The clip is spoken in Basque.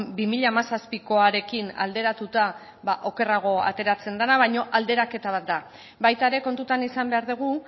bi mila hamazazpikoarekin alderatuta okerrago ateratzen dena baina alderaketa bat da baita ere kontutan izan behar dugu